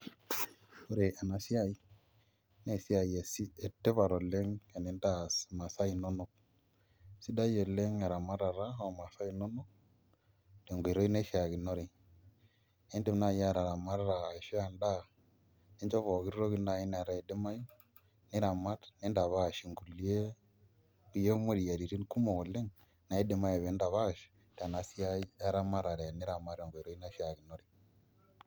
Ore enasiai na esiai etipat oleng tenintaas imasaa inonok ,sidai oleng eramatara omasaa inonok tenkoitoi naishakinore, indim naibataramata aisho endaa ninchoo pookin toki nai nataa idimayu, nitapash inkulie moyiaritin kumok oleng naidimai peintapash tenasiai eramatare teniramat tenkoitoi naishaakinore.